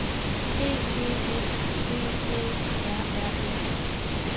D E S V Æ R R E